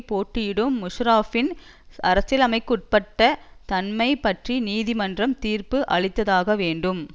போட்டியிடும் முஷாரஃப்பின் அரசியலமைப்புக்குட்பட்ட தன்மை பற்றி நீதிமன்றம் தீர்ப்பு அளித்தாகவேண்டும்